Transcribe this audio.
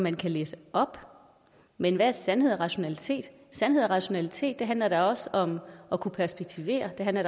man kan læse op men hvad er sandhed og rationalitet sandhed og rationalitet handler da også om at kunne perspektivere det handler